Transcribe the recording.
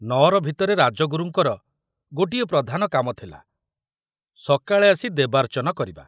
ନଅର ଭିତରେ ରାଜଗୁରୁଙ୍କର ଗୋଟିଏ ପ୍ରଧାନ କାମ ଥିଲା ସକାଳେ ଆସି ଦେବାର୍ଚ୍ଚନ କରିବା।